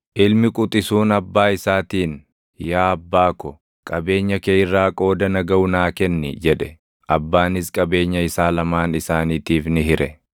Ilmi quxisuun abbaa isaatiin ‘Yaa abbaa ko, qabeenya kee irraa qooda na gaʼu naa kenni’ jedhe. Abbaanis qabeenya isaa lamaan isaaniitiif ni hire.